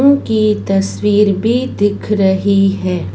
उनकी तस्वीर भी दिख रही हैं।